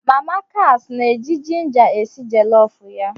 Mama kas na-eji jinja esi jolofu ya